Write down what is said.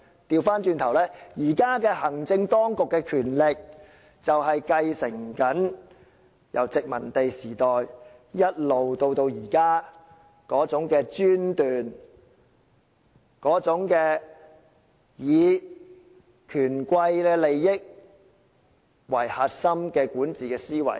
相反，現在的行政當局正正繼承了殖民時代的專權做法，以及以權貴的利益為核心的管治思維。